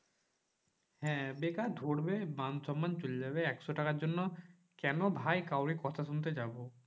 হ্যাঁ বেকার ধরবে মান সন্মান চলে যাবে একশো টাকার জন্য। কেন ভাই কাউরে কথা শুনতে যাবো?